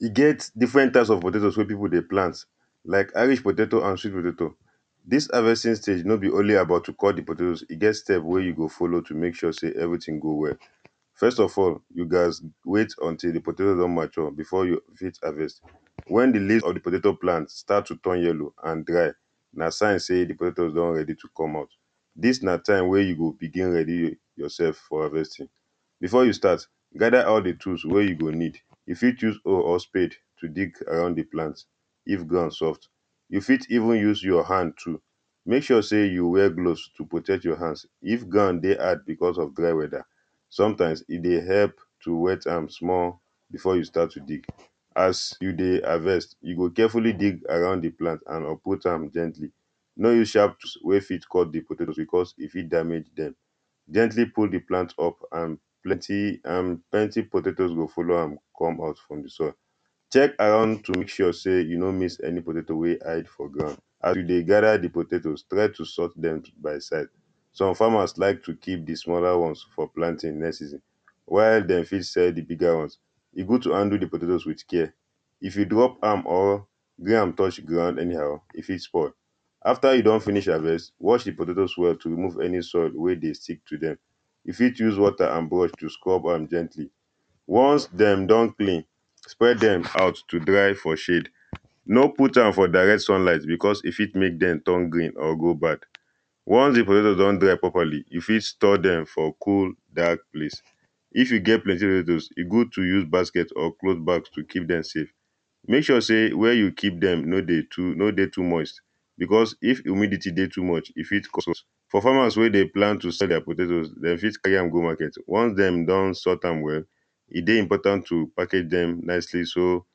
e get different types of potatoes wey people dey plant like irish potato and sweet potato. This harvesting stage no be only about to cut di potato, e get step wey you go follow to make sure say every thing go well. first of all, you gatz wait until di potato don mature before you fit harvest wen di leave of di potato plant start to dey turn yellow and dry, na sign say di potatoes don ready to come out. dis na time wey you go begin ready yourself for harvesting before you start, gather all di tools wey you go need, you fit choose hoe or spade to dig around the plant if ground soft. you fit even use your hand too make sure say you wear gloves to protect your hand if ground dey hard because of dry weather, sometimes e dey help to wet am small before you start to dig. as you dey harvest, you go carefully dig around di plant and uproot am gently no use sharp wey fit cut di potatoes because e fit damage them, gently pull di plant up and plenty potatoes go follow am come out from di soil. check around to make sure say you no miss any potato wey hide for ground. as you dey gather di potatoes, try to sort dem by size. some farmers like to keep di smaller ones for planting next season. while dem fit sell di bigger ones. e good to handle de potatoes with care if you drop am or gree am touch ground anyhow e fit spoil, after you don finish harvest, wash di potatoes well to remove any soil wey dey stick to dem. use fit use water and brush to scrub am gently ones dem don clean, spread dem out, to dry for shade. no put am for direct sunlight because e fit make dem turn green or go back once di potatoes don dry properly, you fit store dem for cool dark place.if you get plenty potatoes e good to use basket or cloth bags to keep dem safe. make sure say where you keep dem no dey too no dey too moist. beause if humidity dey too much, e fit cause us for farmers wey dey plan to sell their potatoes dem fit carry am go market once dem don sort am well, e dey important to package them nicely so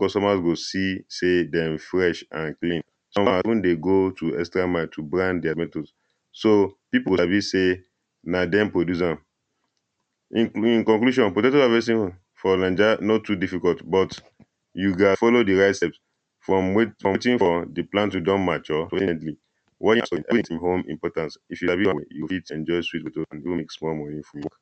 customers go see say dem fresh and clean. some dey go to extra mile to brand their matoes so people sabi say na dem produce am. in in conclusion, potatoes harvesting for naija no too difficult but you gat follow di right steps waiting for di plant wey don mature You fit enjoy sweet potatoes